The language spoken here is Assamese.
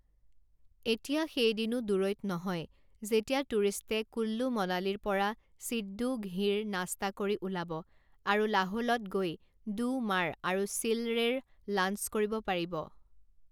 এতিয়া সেই দিনো দূৰৈত নহয় যেতিয়া টুৰিষ্টে কুল্লু মনালীৰ পৰা সিড্ডু ঘি ৰ নাস্তা কৰি ওলাব আৰু লাহোলত গৈ দু মাৰ আৰু চিলড়ে ৰ লাঞ্চ কৰিব পাৰিব।